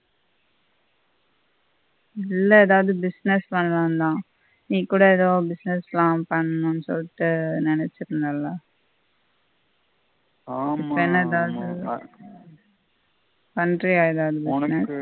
இல்ல எதாவது business பண்ணலாம்ணு தான். நீ கூட எதாவது business லாம் பண்ணும்னு சொல்ட்டு நினைச்சிருந்தெள்ள ஆமா இப்ப என்ன தாவது பண்ரியா எதாவது